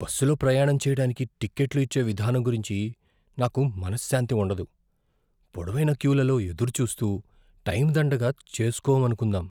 బస్సులో ప్రయాణం చేయడానికి టికెట్లు ఇచ్చే విధానం గురించి నాకు మనశ్శాంతి ఉండదు, పొడవైన క్యూలలో ఎదురుచూస్తూ టైం దండగ చేసుకోమనుకుందాం.